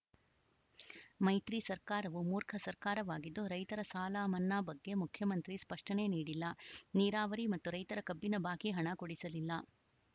ಮೈತ್ರಿ ಸರ್ಕಾರವು ಮೂರ್ಖ ಸರ್ಕಾರವಾಗಿದ್ದು ರೈತರ ಸಾಲ ಮನ್ನಾ ಬಗ್ಗೆ ಮುಖ್ಯಮಂತ್ರಿ ಸ್ಪಷ್ಟನೆ ನೀಡಿಲ್ಲ ನೀರಾವರಿ ಮತ್ತು ರೈತರ ಕಬ್ಬಿನ ಬಾಕಿ ಹಣ ಕೊಡಿಸಲಿಲ್ಲ